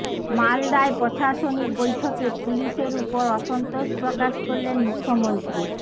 মালদায় প্রশাসনিক বৈঠকে পুলিশের ওপর অসন্তোষ প্রকাশ করলেন মুখ্যমন্ত্রী